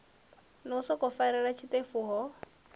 no sokou farelela zwiṱefu ho